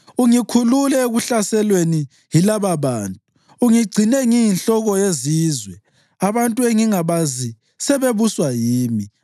Ungikhulule ekuhlaselweni yilababantu; ungigcine ngiyinhloko yezizwe. Abantu engangingabazi sebebuswa yimi,